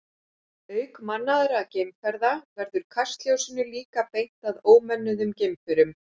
Auk mannaðra geimferða verður kastljósinu líka beint að ómönnuðum geimförum.